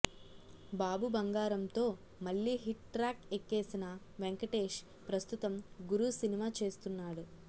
బాబు బంగారంతో మళ్లీ hit track ఎక్కేసిన వెంకటేష్ ప్రస్తుతం గురు సినిమా చేస్తున్నాడు